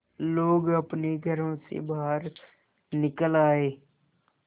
लोग अपने घरों से बाहर निकल आए